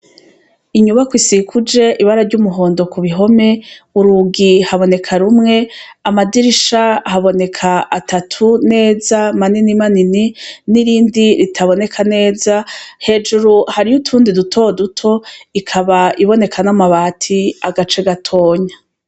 Inyubakwa isikuje ibara ry'umuhondo ku bihome urugi haboneka rumwe amadirisha haboneka atatu neza manini manini n'irindi ritaboneka neza hejuru hariyo utundi duto duto ikaba iboneka n'amabati agace gatoya.